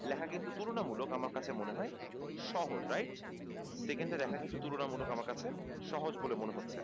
লেখা কিন্তু তুলনা মূলক আমার কাছে মনে হয় সহজ right second টা লেখা আমার কাছে তুলনা মূলক সহজ বলে মনে হচ্ছে